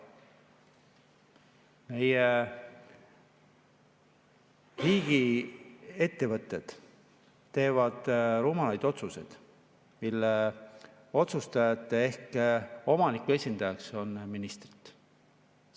Meie riigiettevõtted, mille otsustajate ehk omaniku esindajaks on ministrid, teevad rumalaid otsuseid.